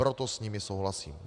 Proto s nimi souhlasím.